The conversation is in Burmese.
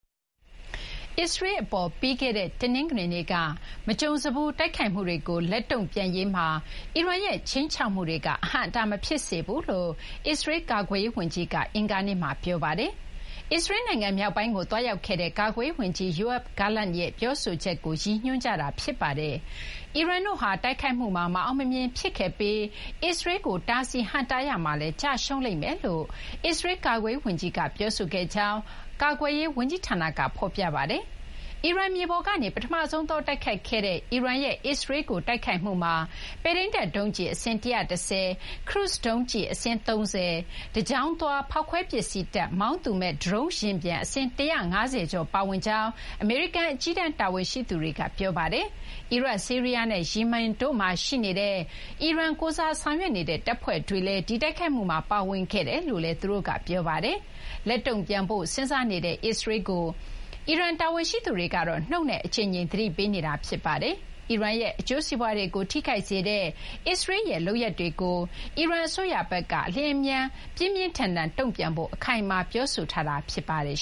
အစ္စရေးလ်အပေါ် ပြီးခဲ့တဲ့ တနင်္ဂနွေနေ့က မကြုံစဖူး တိုက်ခိုက်မှုတွေကို လက်တုံ့ပြန်ရေးမှာ အီရန်ရဲ့ ခြိမ်းခြောက်မှုတွေက အဟန့်အတား မဖြစ်စေဘူးလို့ အစ္စရေးလ် ကာကွယ်ရေးဝန်ကြီးက အင်္ဂါနေ့မှာ ပြောပါတယ်။ အစ္စရေးလ်နိုင်ငံ မြောက်ပိုင်းကို သွားရောက်ခဲ့တဲ့ ကာကွယ်ရေးဝန်ကြီး Yoav Gallant ရဲ့ ပြောဆိုချက်ကို ရည်ညွှန်းကြတာ ဖြစ်ပါတယ်။ အီရန်တို့ဟာ တိုက်ခိုက်မှုမှာ မအောင်မမြင် ဖြစ်ခဲ့ပြီး အစ္စရေးလ်ကို တားဆီး ဟန့်တားရာမှာလည်း ကျရှုံးလိမ့်မယ်လို့ အစ္စရေးလ်ကာကွယ်ရေးဝန်ကြီးက ပြောဆိုခဲ့ကြောင်း ကာကွယ်ရေး ဝန်ကြီးဌာနက ဖော်ပြပါတယ်။ အီရန်မြေပေါ်ကနေ ပထမဆုံးသော တိုက်ခိုက်ခဲ့တဲ့ အီရန်ရဲ့ အစ္စရေးလ်ကို တိုက်ခိုက်မှုမှာ ပဲ့ထိန်းတပ်ဒုံးကျည် အစင်း ၁၁၀၊ ခရုစ်ဒုံးကျည် အစင်း ၃၀၊ တကြောင်းသွား ဖောက်ခွဲရေးပစ္စည်းတပ် မောင်းသူမဲ့ ဒရုန်းယာဉ်ပျံ အစင်း ၁၅၀ ကျော် ပါဝင်ကြောင်း အမေရိကန် အကြီးတန်း တာဝန်ရှိသူတွေက ပြောပါတယ်။ အီရတ်၊ ဆီးရီးယားနဲ့ ယီမင်တို့မှာ ရှိနေတဲ့ အီရန်ကိုယ်စား ဆောင်ရွက်နေတဲ့ တပ်ဖွဲ့တွေလည်း ဒီတိုက်ခိုက်မှုမှာ ပါဝင်ခဲ့ကြတယ်လို့လည်း အမေရိကန် တာဝန်ရှိသူတွေက ပြောပါတယ်။ လက်တုံ့ပြန်ဖို့ စဉ်းစားနေတဲ့ အစ္စရေးလ်ကို အီရန် တာဝန်ရှိသူတွေကတော့ နှုတ်နဲ့ အကြိမ်ကြိမ် သတိပေးထားပါတယ်။ အီရန်ရဲ့ အကျိုးစီးပွားတွေကို ထိခိုက်စေတဲ့ အစ္စရေးလ်ရဲ့ လုပ်ရပ်တွေအပေါ်မှာ အီရန်အစိုးရဘက်က အလျင်အမြန် ပြင်းပြင်းထန်ထန် တုံ့ပြန်ဖို့ အခိုင်အမာ ပြောဆိုထားတာ ဖြစ်ပါတယ်